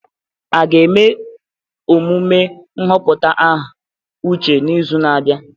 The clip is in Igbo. A ga-eme emume nhọpụta aha Uche n'izu na-abịa?